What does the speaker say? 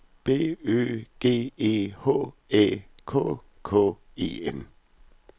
B Ø G E H Æ K K E N